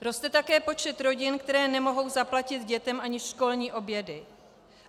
Roste také počet rodin, které nemohou zaplatit dětem ani školní obědy.